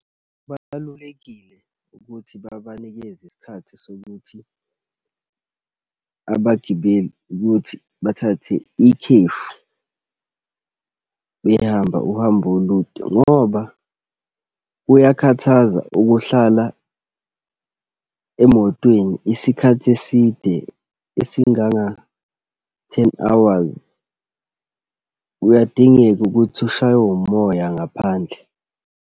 Kubalulekile ukuthi babanikeze isikhathi sokuthi abagibeli ukuthi bathathe ikhefu, behamba uhambo olude ngoba kuyakhathaza ukuhlala emotweni isikhathi eside esinganga-ten hours. Kuyadingeka ukuthi ushaywe umoya ngaphandle.